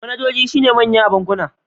Manajojin sune manyan a bankuna.